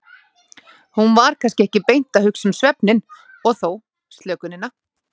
Hann var kannski ekki beint að hugsa um svefninn, og þó, slökunina.